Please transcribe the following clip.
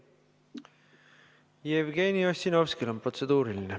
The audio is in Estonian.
Jevgeni Ossinovskil on protseduuriline.